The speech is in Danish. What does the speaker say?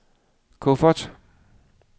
kuffert